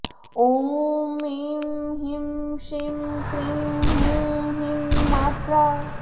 ॐ ऐं ह्रीं श्रीं क्रीं हूं ह्रीं मात्रा